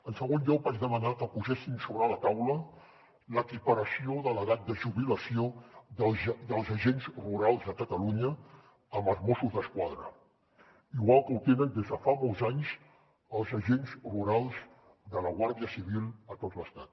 en segon lloc vaig demanar que poséssim sobre la taula l’equiparació de l’edat de jubilació dels agents rurals de catalunya amb la dels mossos d’esquadra igual que ho tenen des de fa molts anys els agents rurals de la guàrdia civil a tot l’estat